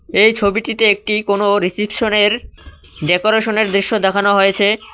এই ছবিটিতে একটি কোন রিসিটশনের ডেকরেশনের দৃশ্য দেখানো হয়েছে।